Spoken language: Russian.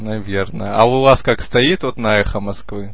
наверное а у вас как стоит вот на эхо москвы